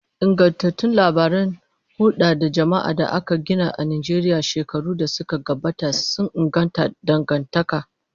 Ingantattun labaran hulda da jama'a da aka gina a Najeriya shekaru da suka gabata sun inganta dangantaka.